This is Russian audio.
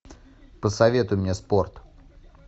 посоветуй мне спорт